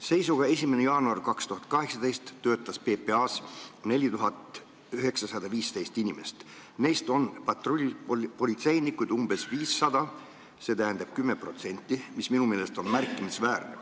Seisuga 1. jaanuar 2018 töötas PPA-s 4915 inimest, neist patrullpolitseinikuid oli umbes 500, st 10%, mis minu meelest on märkimisväärne.